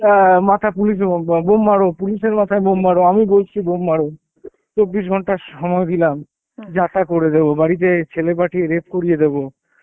অ্যাঁ মাথা পুলিশে বক ব বোম মারো, পুলিশের মাথায় বোম মারো আমি বলছি বোম মারো চব্বিশ ঘন্টা সময় দিলাম যা তা করে দেবো, বাড়িতে ছেলে পাঠিয়ে রেপ করে দেবো,